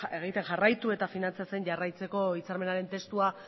egiten jarraitu eta finantzatzen jarraitzeko hitzarmenaren testua